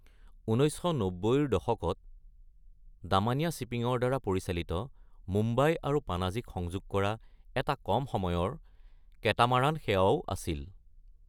১৯৯০-ৰ দশকত ডামানিয়া শ্বিপিং-ৰ দ্বাৰা পৰিচালিত মুম্বাই আৰু পানাজীক সংযোগ কৰা এটা কম সময়ৰ কেটামাৰান সেৱাও আছিল।